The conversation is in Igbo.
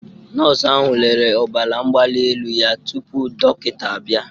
Nọọsụ ahụ lere ọbara mgbali elu ya tupu dọkịta abịa